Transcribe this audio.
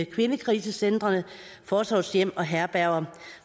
kvindekrisecentre forsorgshjem og herberger